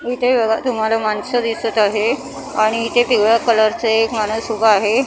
इथे बघा तुम्हाला माणसं दिसत आहे आणि इथे पिवळ्या कलरचं एक माणूस उभं आहे.